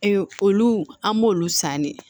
olu an b'olu san ne